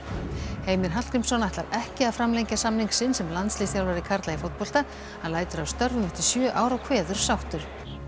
Heimir Hallgrímsson ætlar ekki að framlengja samning sinn sem landsliðsþjálfari karla í fótbolta hann lætur af störfum eftir sjö ár og kveður sáttur